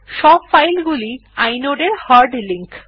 সব ফাইলগুলি ই inode এর হার্ড লিঙ্ক